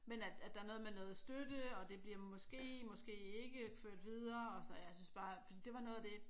Men at at der er noget med noget støtte og det bliver måske måske ikke ført videre og sådan noget og jeg synes bare fordi det var noget af det